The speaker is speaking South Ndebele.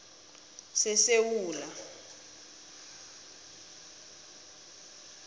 sesewula